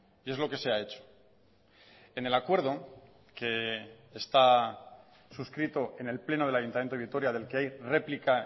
y es lo que se ha hecho en el acuerdo que está suscrito en el pleno del ayuntamiento de vitoria del que hay réplica